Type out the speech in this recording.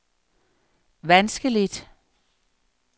vanskeligt